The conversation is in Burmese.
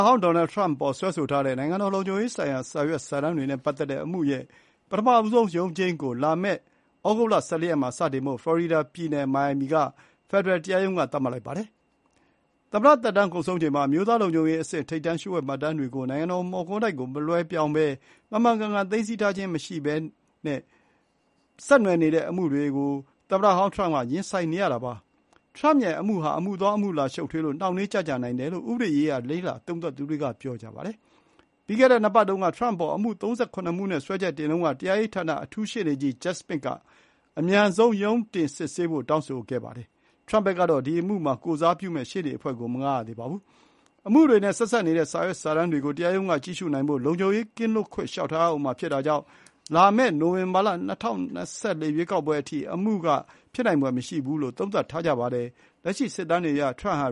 ဟောင်း ဒေါ်နယ်ထရမ့်အပေါ်စွဲဆိုထားတဲ့ နိုင်ငံတော် လုံခြုံရေးဆိုင်ရာ စာရွက်စာတမ်း တွေနဲ့ ပတ်သက်တဲ့အမှုရဲ့ ပထမဆုံးရုံးချိန်းကို လာမယ့် သြဂုတ်လ ၁၄ ရက်မှာစတင်ဖို့ ဖလော်ရီဒါ ပြည်နယ် မိုင်ယာမီက ဖယ်ဒရယ်တရားရုံးက သတ်မှတ်လိုက်ပါတယ်။ သမ္မတသက်တမ်း ကုန်ဆုံးချိန်မှာ အမျိုးသားလုံခြုံရေးအဆင့် ထိပ်တန်းလျှို့ဝှက်မှတ်တမ်းတွေကို နိုင်ငံတော် မော်ကွန်းတိုက်ကို မလွှဲပြောင်းတာ၊ မှန်မှန်ကန်ကန် သိမ်းဆည်းထားခြင်း မရှိတာတွေနဲ့ပတ်သက်ပြီး အမှုတွေနဲ့ သမ္မတဟောင်း ထရမ့်ဟာ အမှုရင်ဆိုင်ရမှာပါ။ အမေရိကန်သမ္မတထဲက ပထမဆုံးရာဇ၀တ်မှုဆိုင်ရာ ရုံးတင်စစ်ဆေးခံရတဲ့ ထရမ့်ရဲ့ အမှုဟာ အမှုသွား အမှုလာ ရှုပ်ထွေးလို့နှောင့်နှေးကြန့်ကြာမှုတွေ ဖြစ်လာနိုင်တယ်လို့ ဥပဒေရေးရာ လေ့လာသုံးသပ်သူတွေက ပြောပါတယ်။ ပြီးခဲ့တဲ့ နှစ်ပတ်တုန်းက ထရမ့်အပေါ် အမှု ၃၇ မှုနဲ့ စွဲချက်တင်တုန်းက တရားရေးဌာန အထူးရှေ့နေကြီး ဂျက်စမစ်က "အမြန်ရုံးတင်စစ်ဆေးဖို့" တောင်းဆိုခဲ့တာပါ။ ထရမ့်ဖက်ကတော့ ဒီအမှုမှာ ကိုယ်စားပြုမယ့် ရှေ့နေ အဖွဲ့ကို မငှားရသေးပါဘူး။ အမှုတွေနဲ့ ဆက်စပ်နေတဲ့စာရွက်စာတမ်းတွေကို တရားရုံးက ကြည့်ရှုနိုင်ဖို့ လုံခြုံရေးကင်းလွတ်ခွင့် လျှောက်ထားရဦးမှာ ဖြစ်တဲ့အတွက် တကယ်တမ်းမှာ ရုံးချိန်းက နောက်တနှစ်အကြာ လာမယ့် နိုဝင်ဘာ ၂၀၂၄ ရွေးကောက်ပွဲ အထိ ဖြစ်နိုင်ဖွယ် မရှိဘူးလို့ သုံးသပ်ကြပါတယ်။ လက်ရှိ စစ်တမ်းတွေအရ ထရမ့်ဟာ